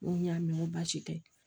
N ko n y'a mɛn n ko baasi tɛ